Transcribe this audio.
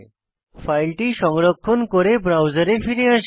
ফাইলটি সংরক্ষণ করে ব্রাউজারে ফিরে আসি